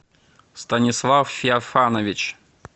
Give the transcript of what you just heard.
станислав феофанович